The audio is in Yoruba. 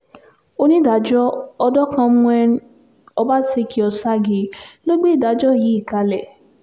onídàájọ́ ọbaṣekí-òṣágìí ló gbé ìdájọ́ yìí kalẹ̀